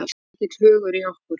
Mikill hugur í okkur